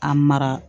A mara